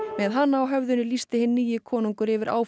með hana á höfðinu lýsti hinn nýi konungur yfir